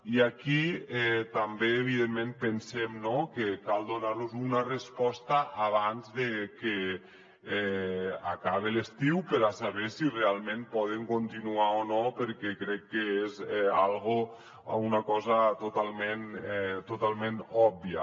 i aquí també evidentment pensem que cal donar los una resposta abans de que acabe l’estiu per a saber si realment poden continuar o no perquè crec que és una cosa totalment òbvia